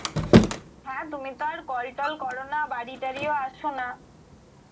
হ্যাঁ, তুমি তো আর call তল করো না, বাড়ি তাড়ি ও আসনা.